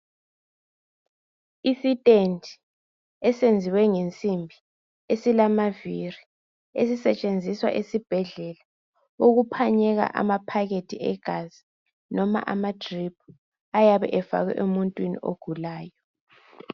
Isistendi esenziwe ngemsimbi esilamavili esisetshenziswa esibhedlela ukuphanyeka amaphakethe egazi noma amadrip ayabe efakwe emuntwini ogulayo.